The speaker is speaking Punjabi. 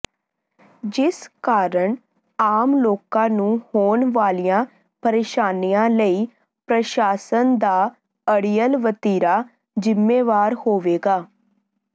ਜਿਸ ਕਾਰਨ ਆਮ ਲੋਕਾਂ ਨੂੰ ਹੋਣ ਵਾਲੀਆਂ ਪ੍ਰਰੇਸ਼ਾਨੀਆਂ ਲਈ ਪ੍ਰਸ਼ਾਸਨ ਦਾ ਅੜੀਅਲ ਵਤੀਰਾ ਜ਼ਿੰਮੇਵਾਰ ਹੋਵੇਗਾ